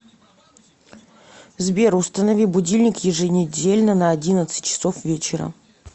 сбер установи будильник еженедельно на одиннадцать часов вечера